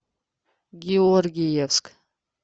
георгиевск